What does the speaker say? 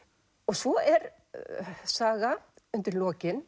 svo er saga undir lokin